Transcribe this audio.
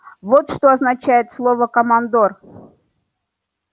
вот что означает слово командор